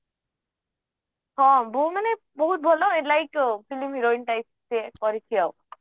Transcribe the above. ହଁ ବୋ ମାନେ ବହୁତ ଭଲ like film heroin type ସେ କରିଛି ଆଉ